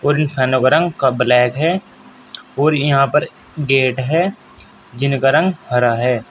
और इस फैनो का रंग क ब्लैक है और ये यहाँ पर गेट है जिनका रंग हरा है।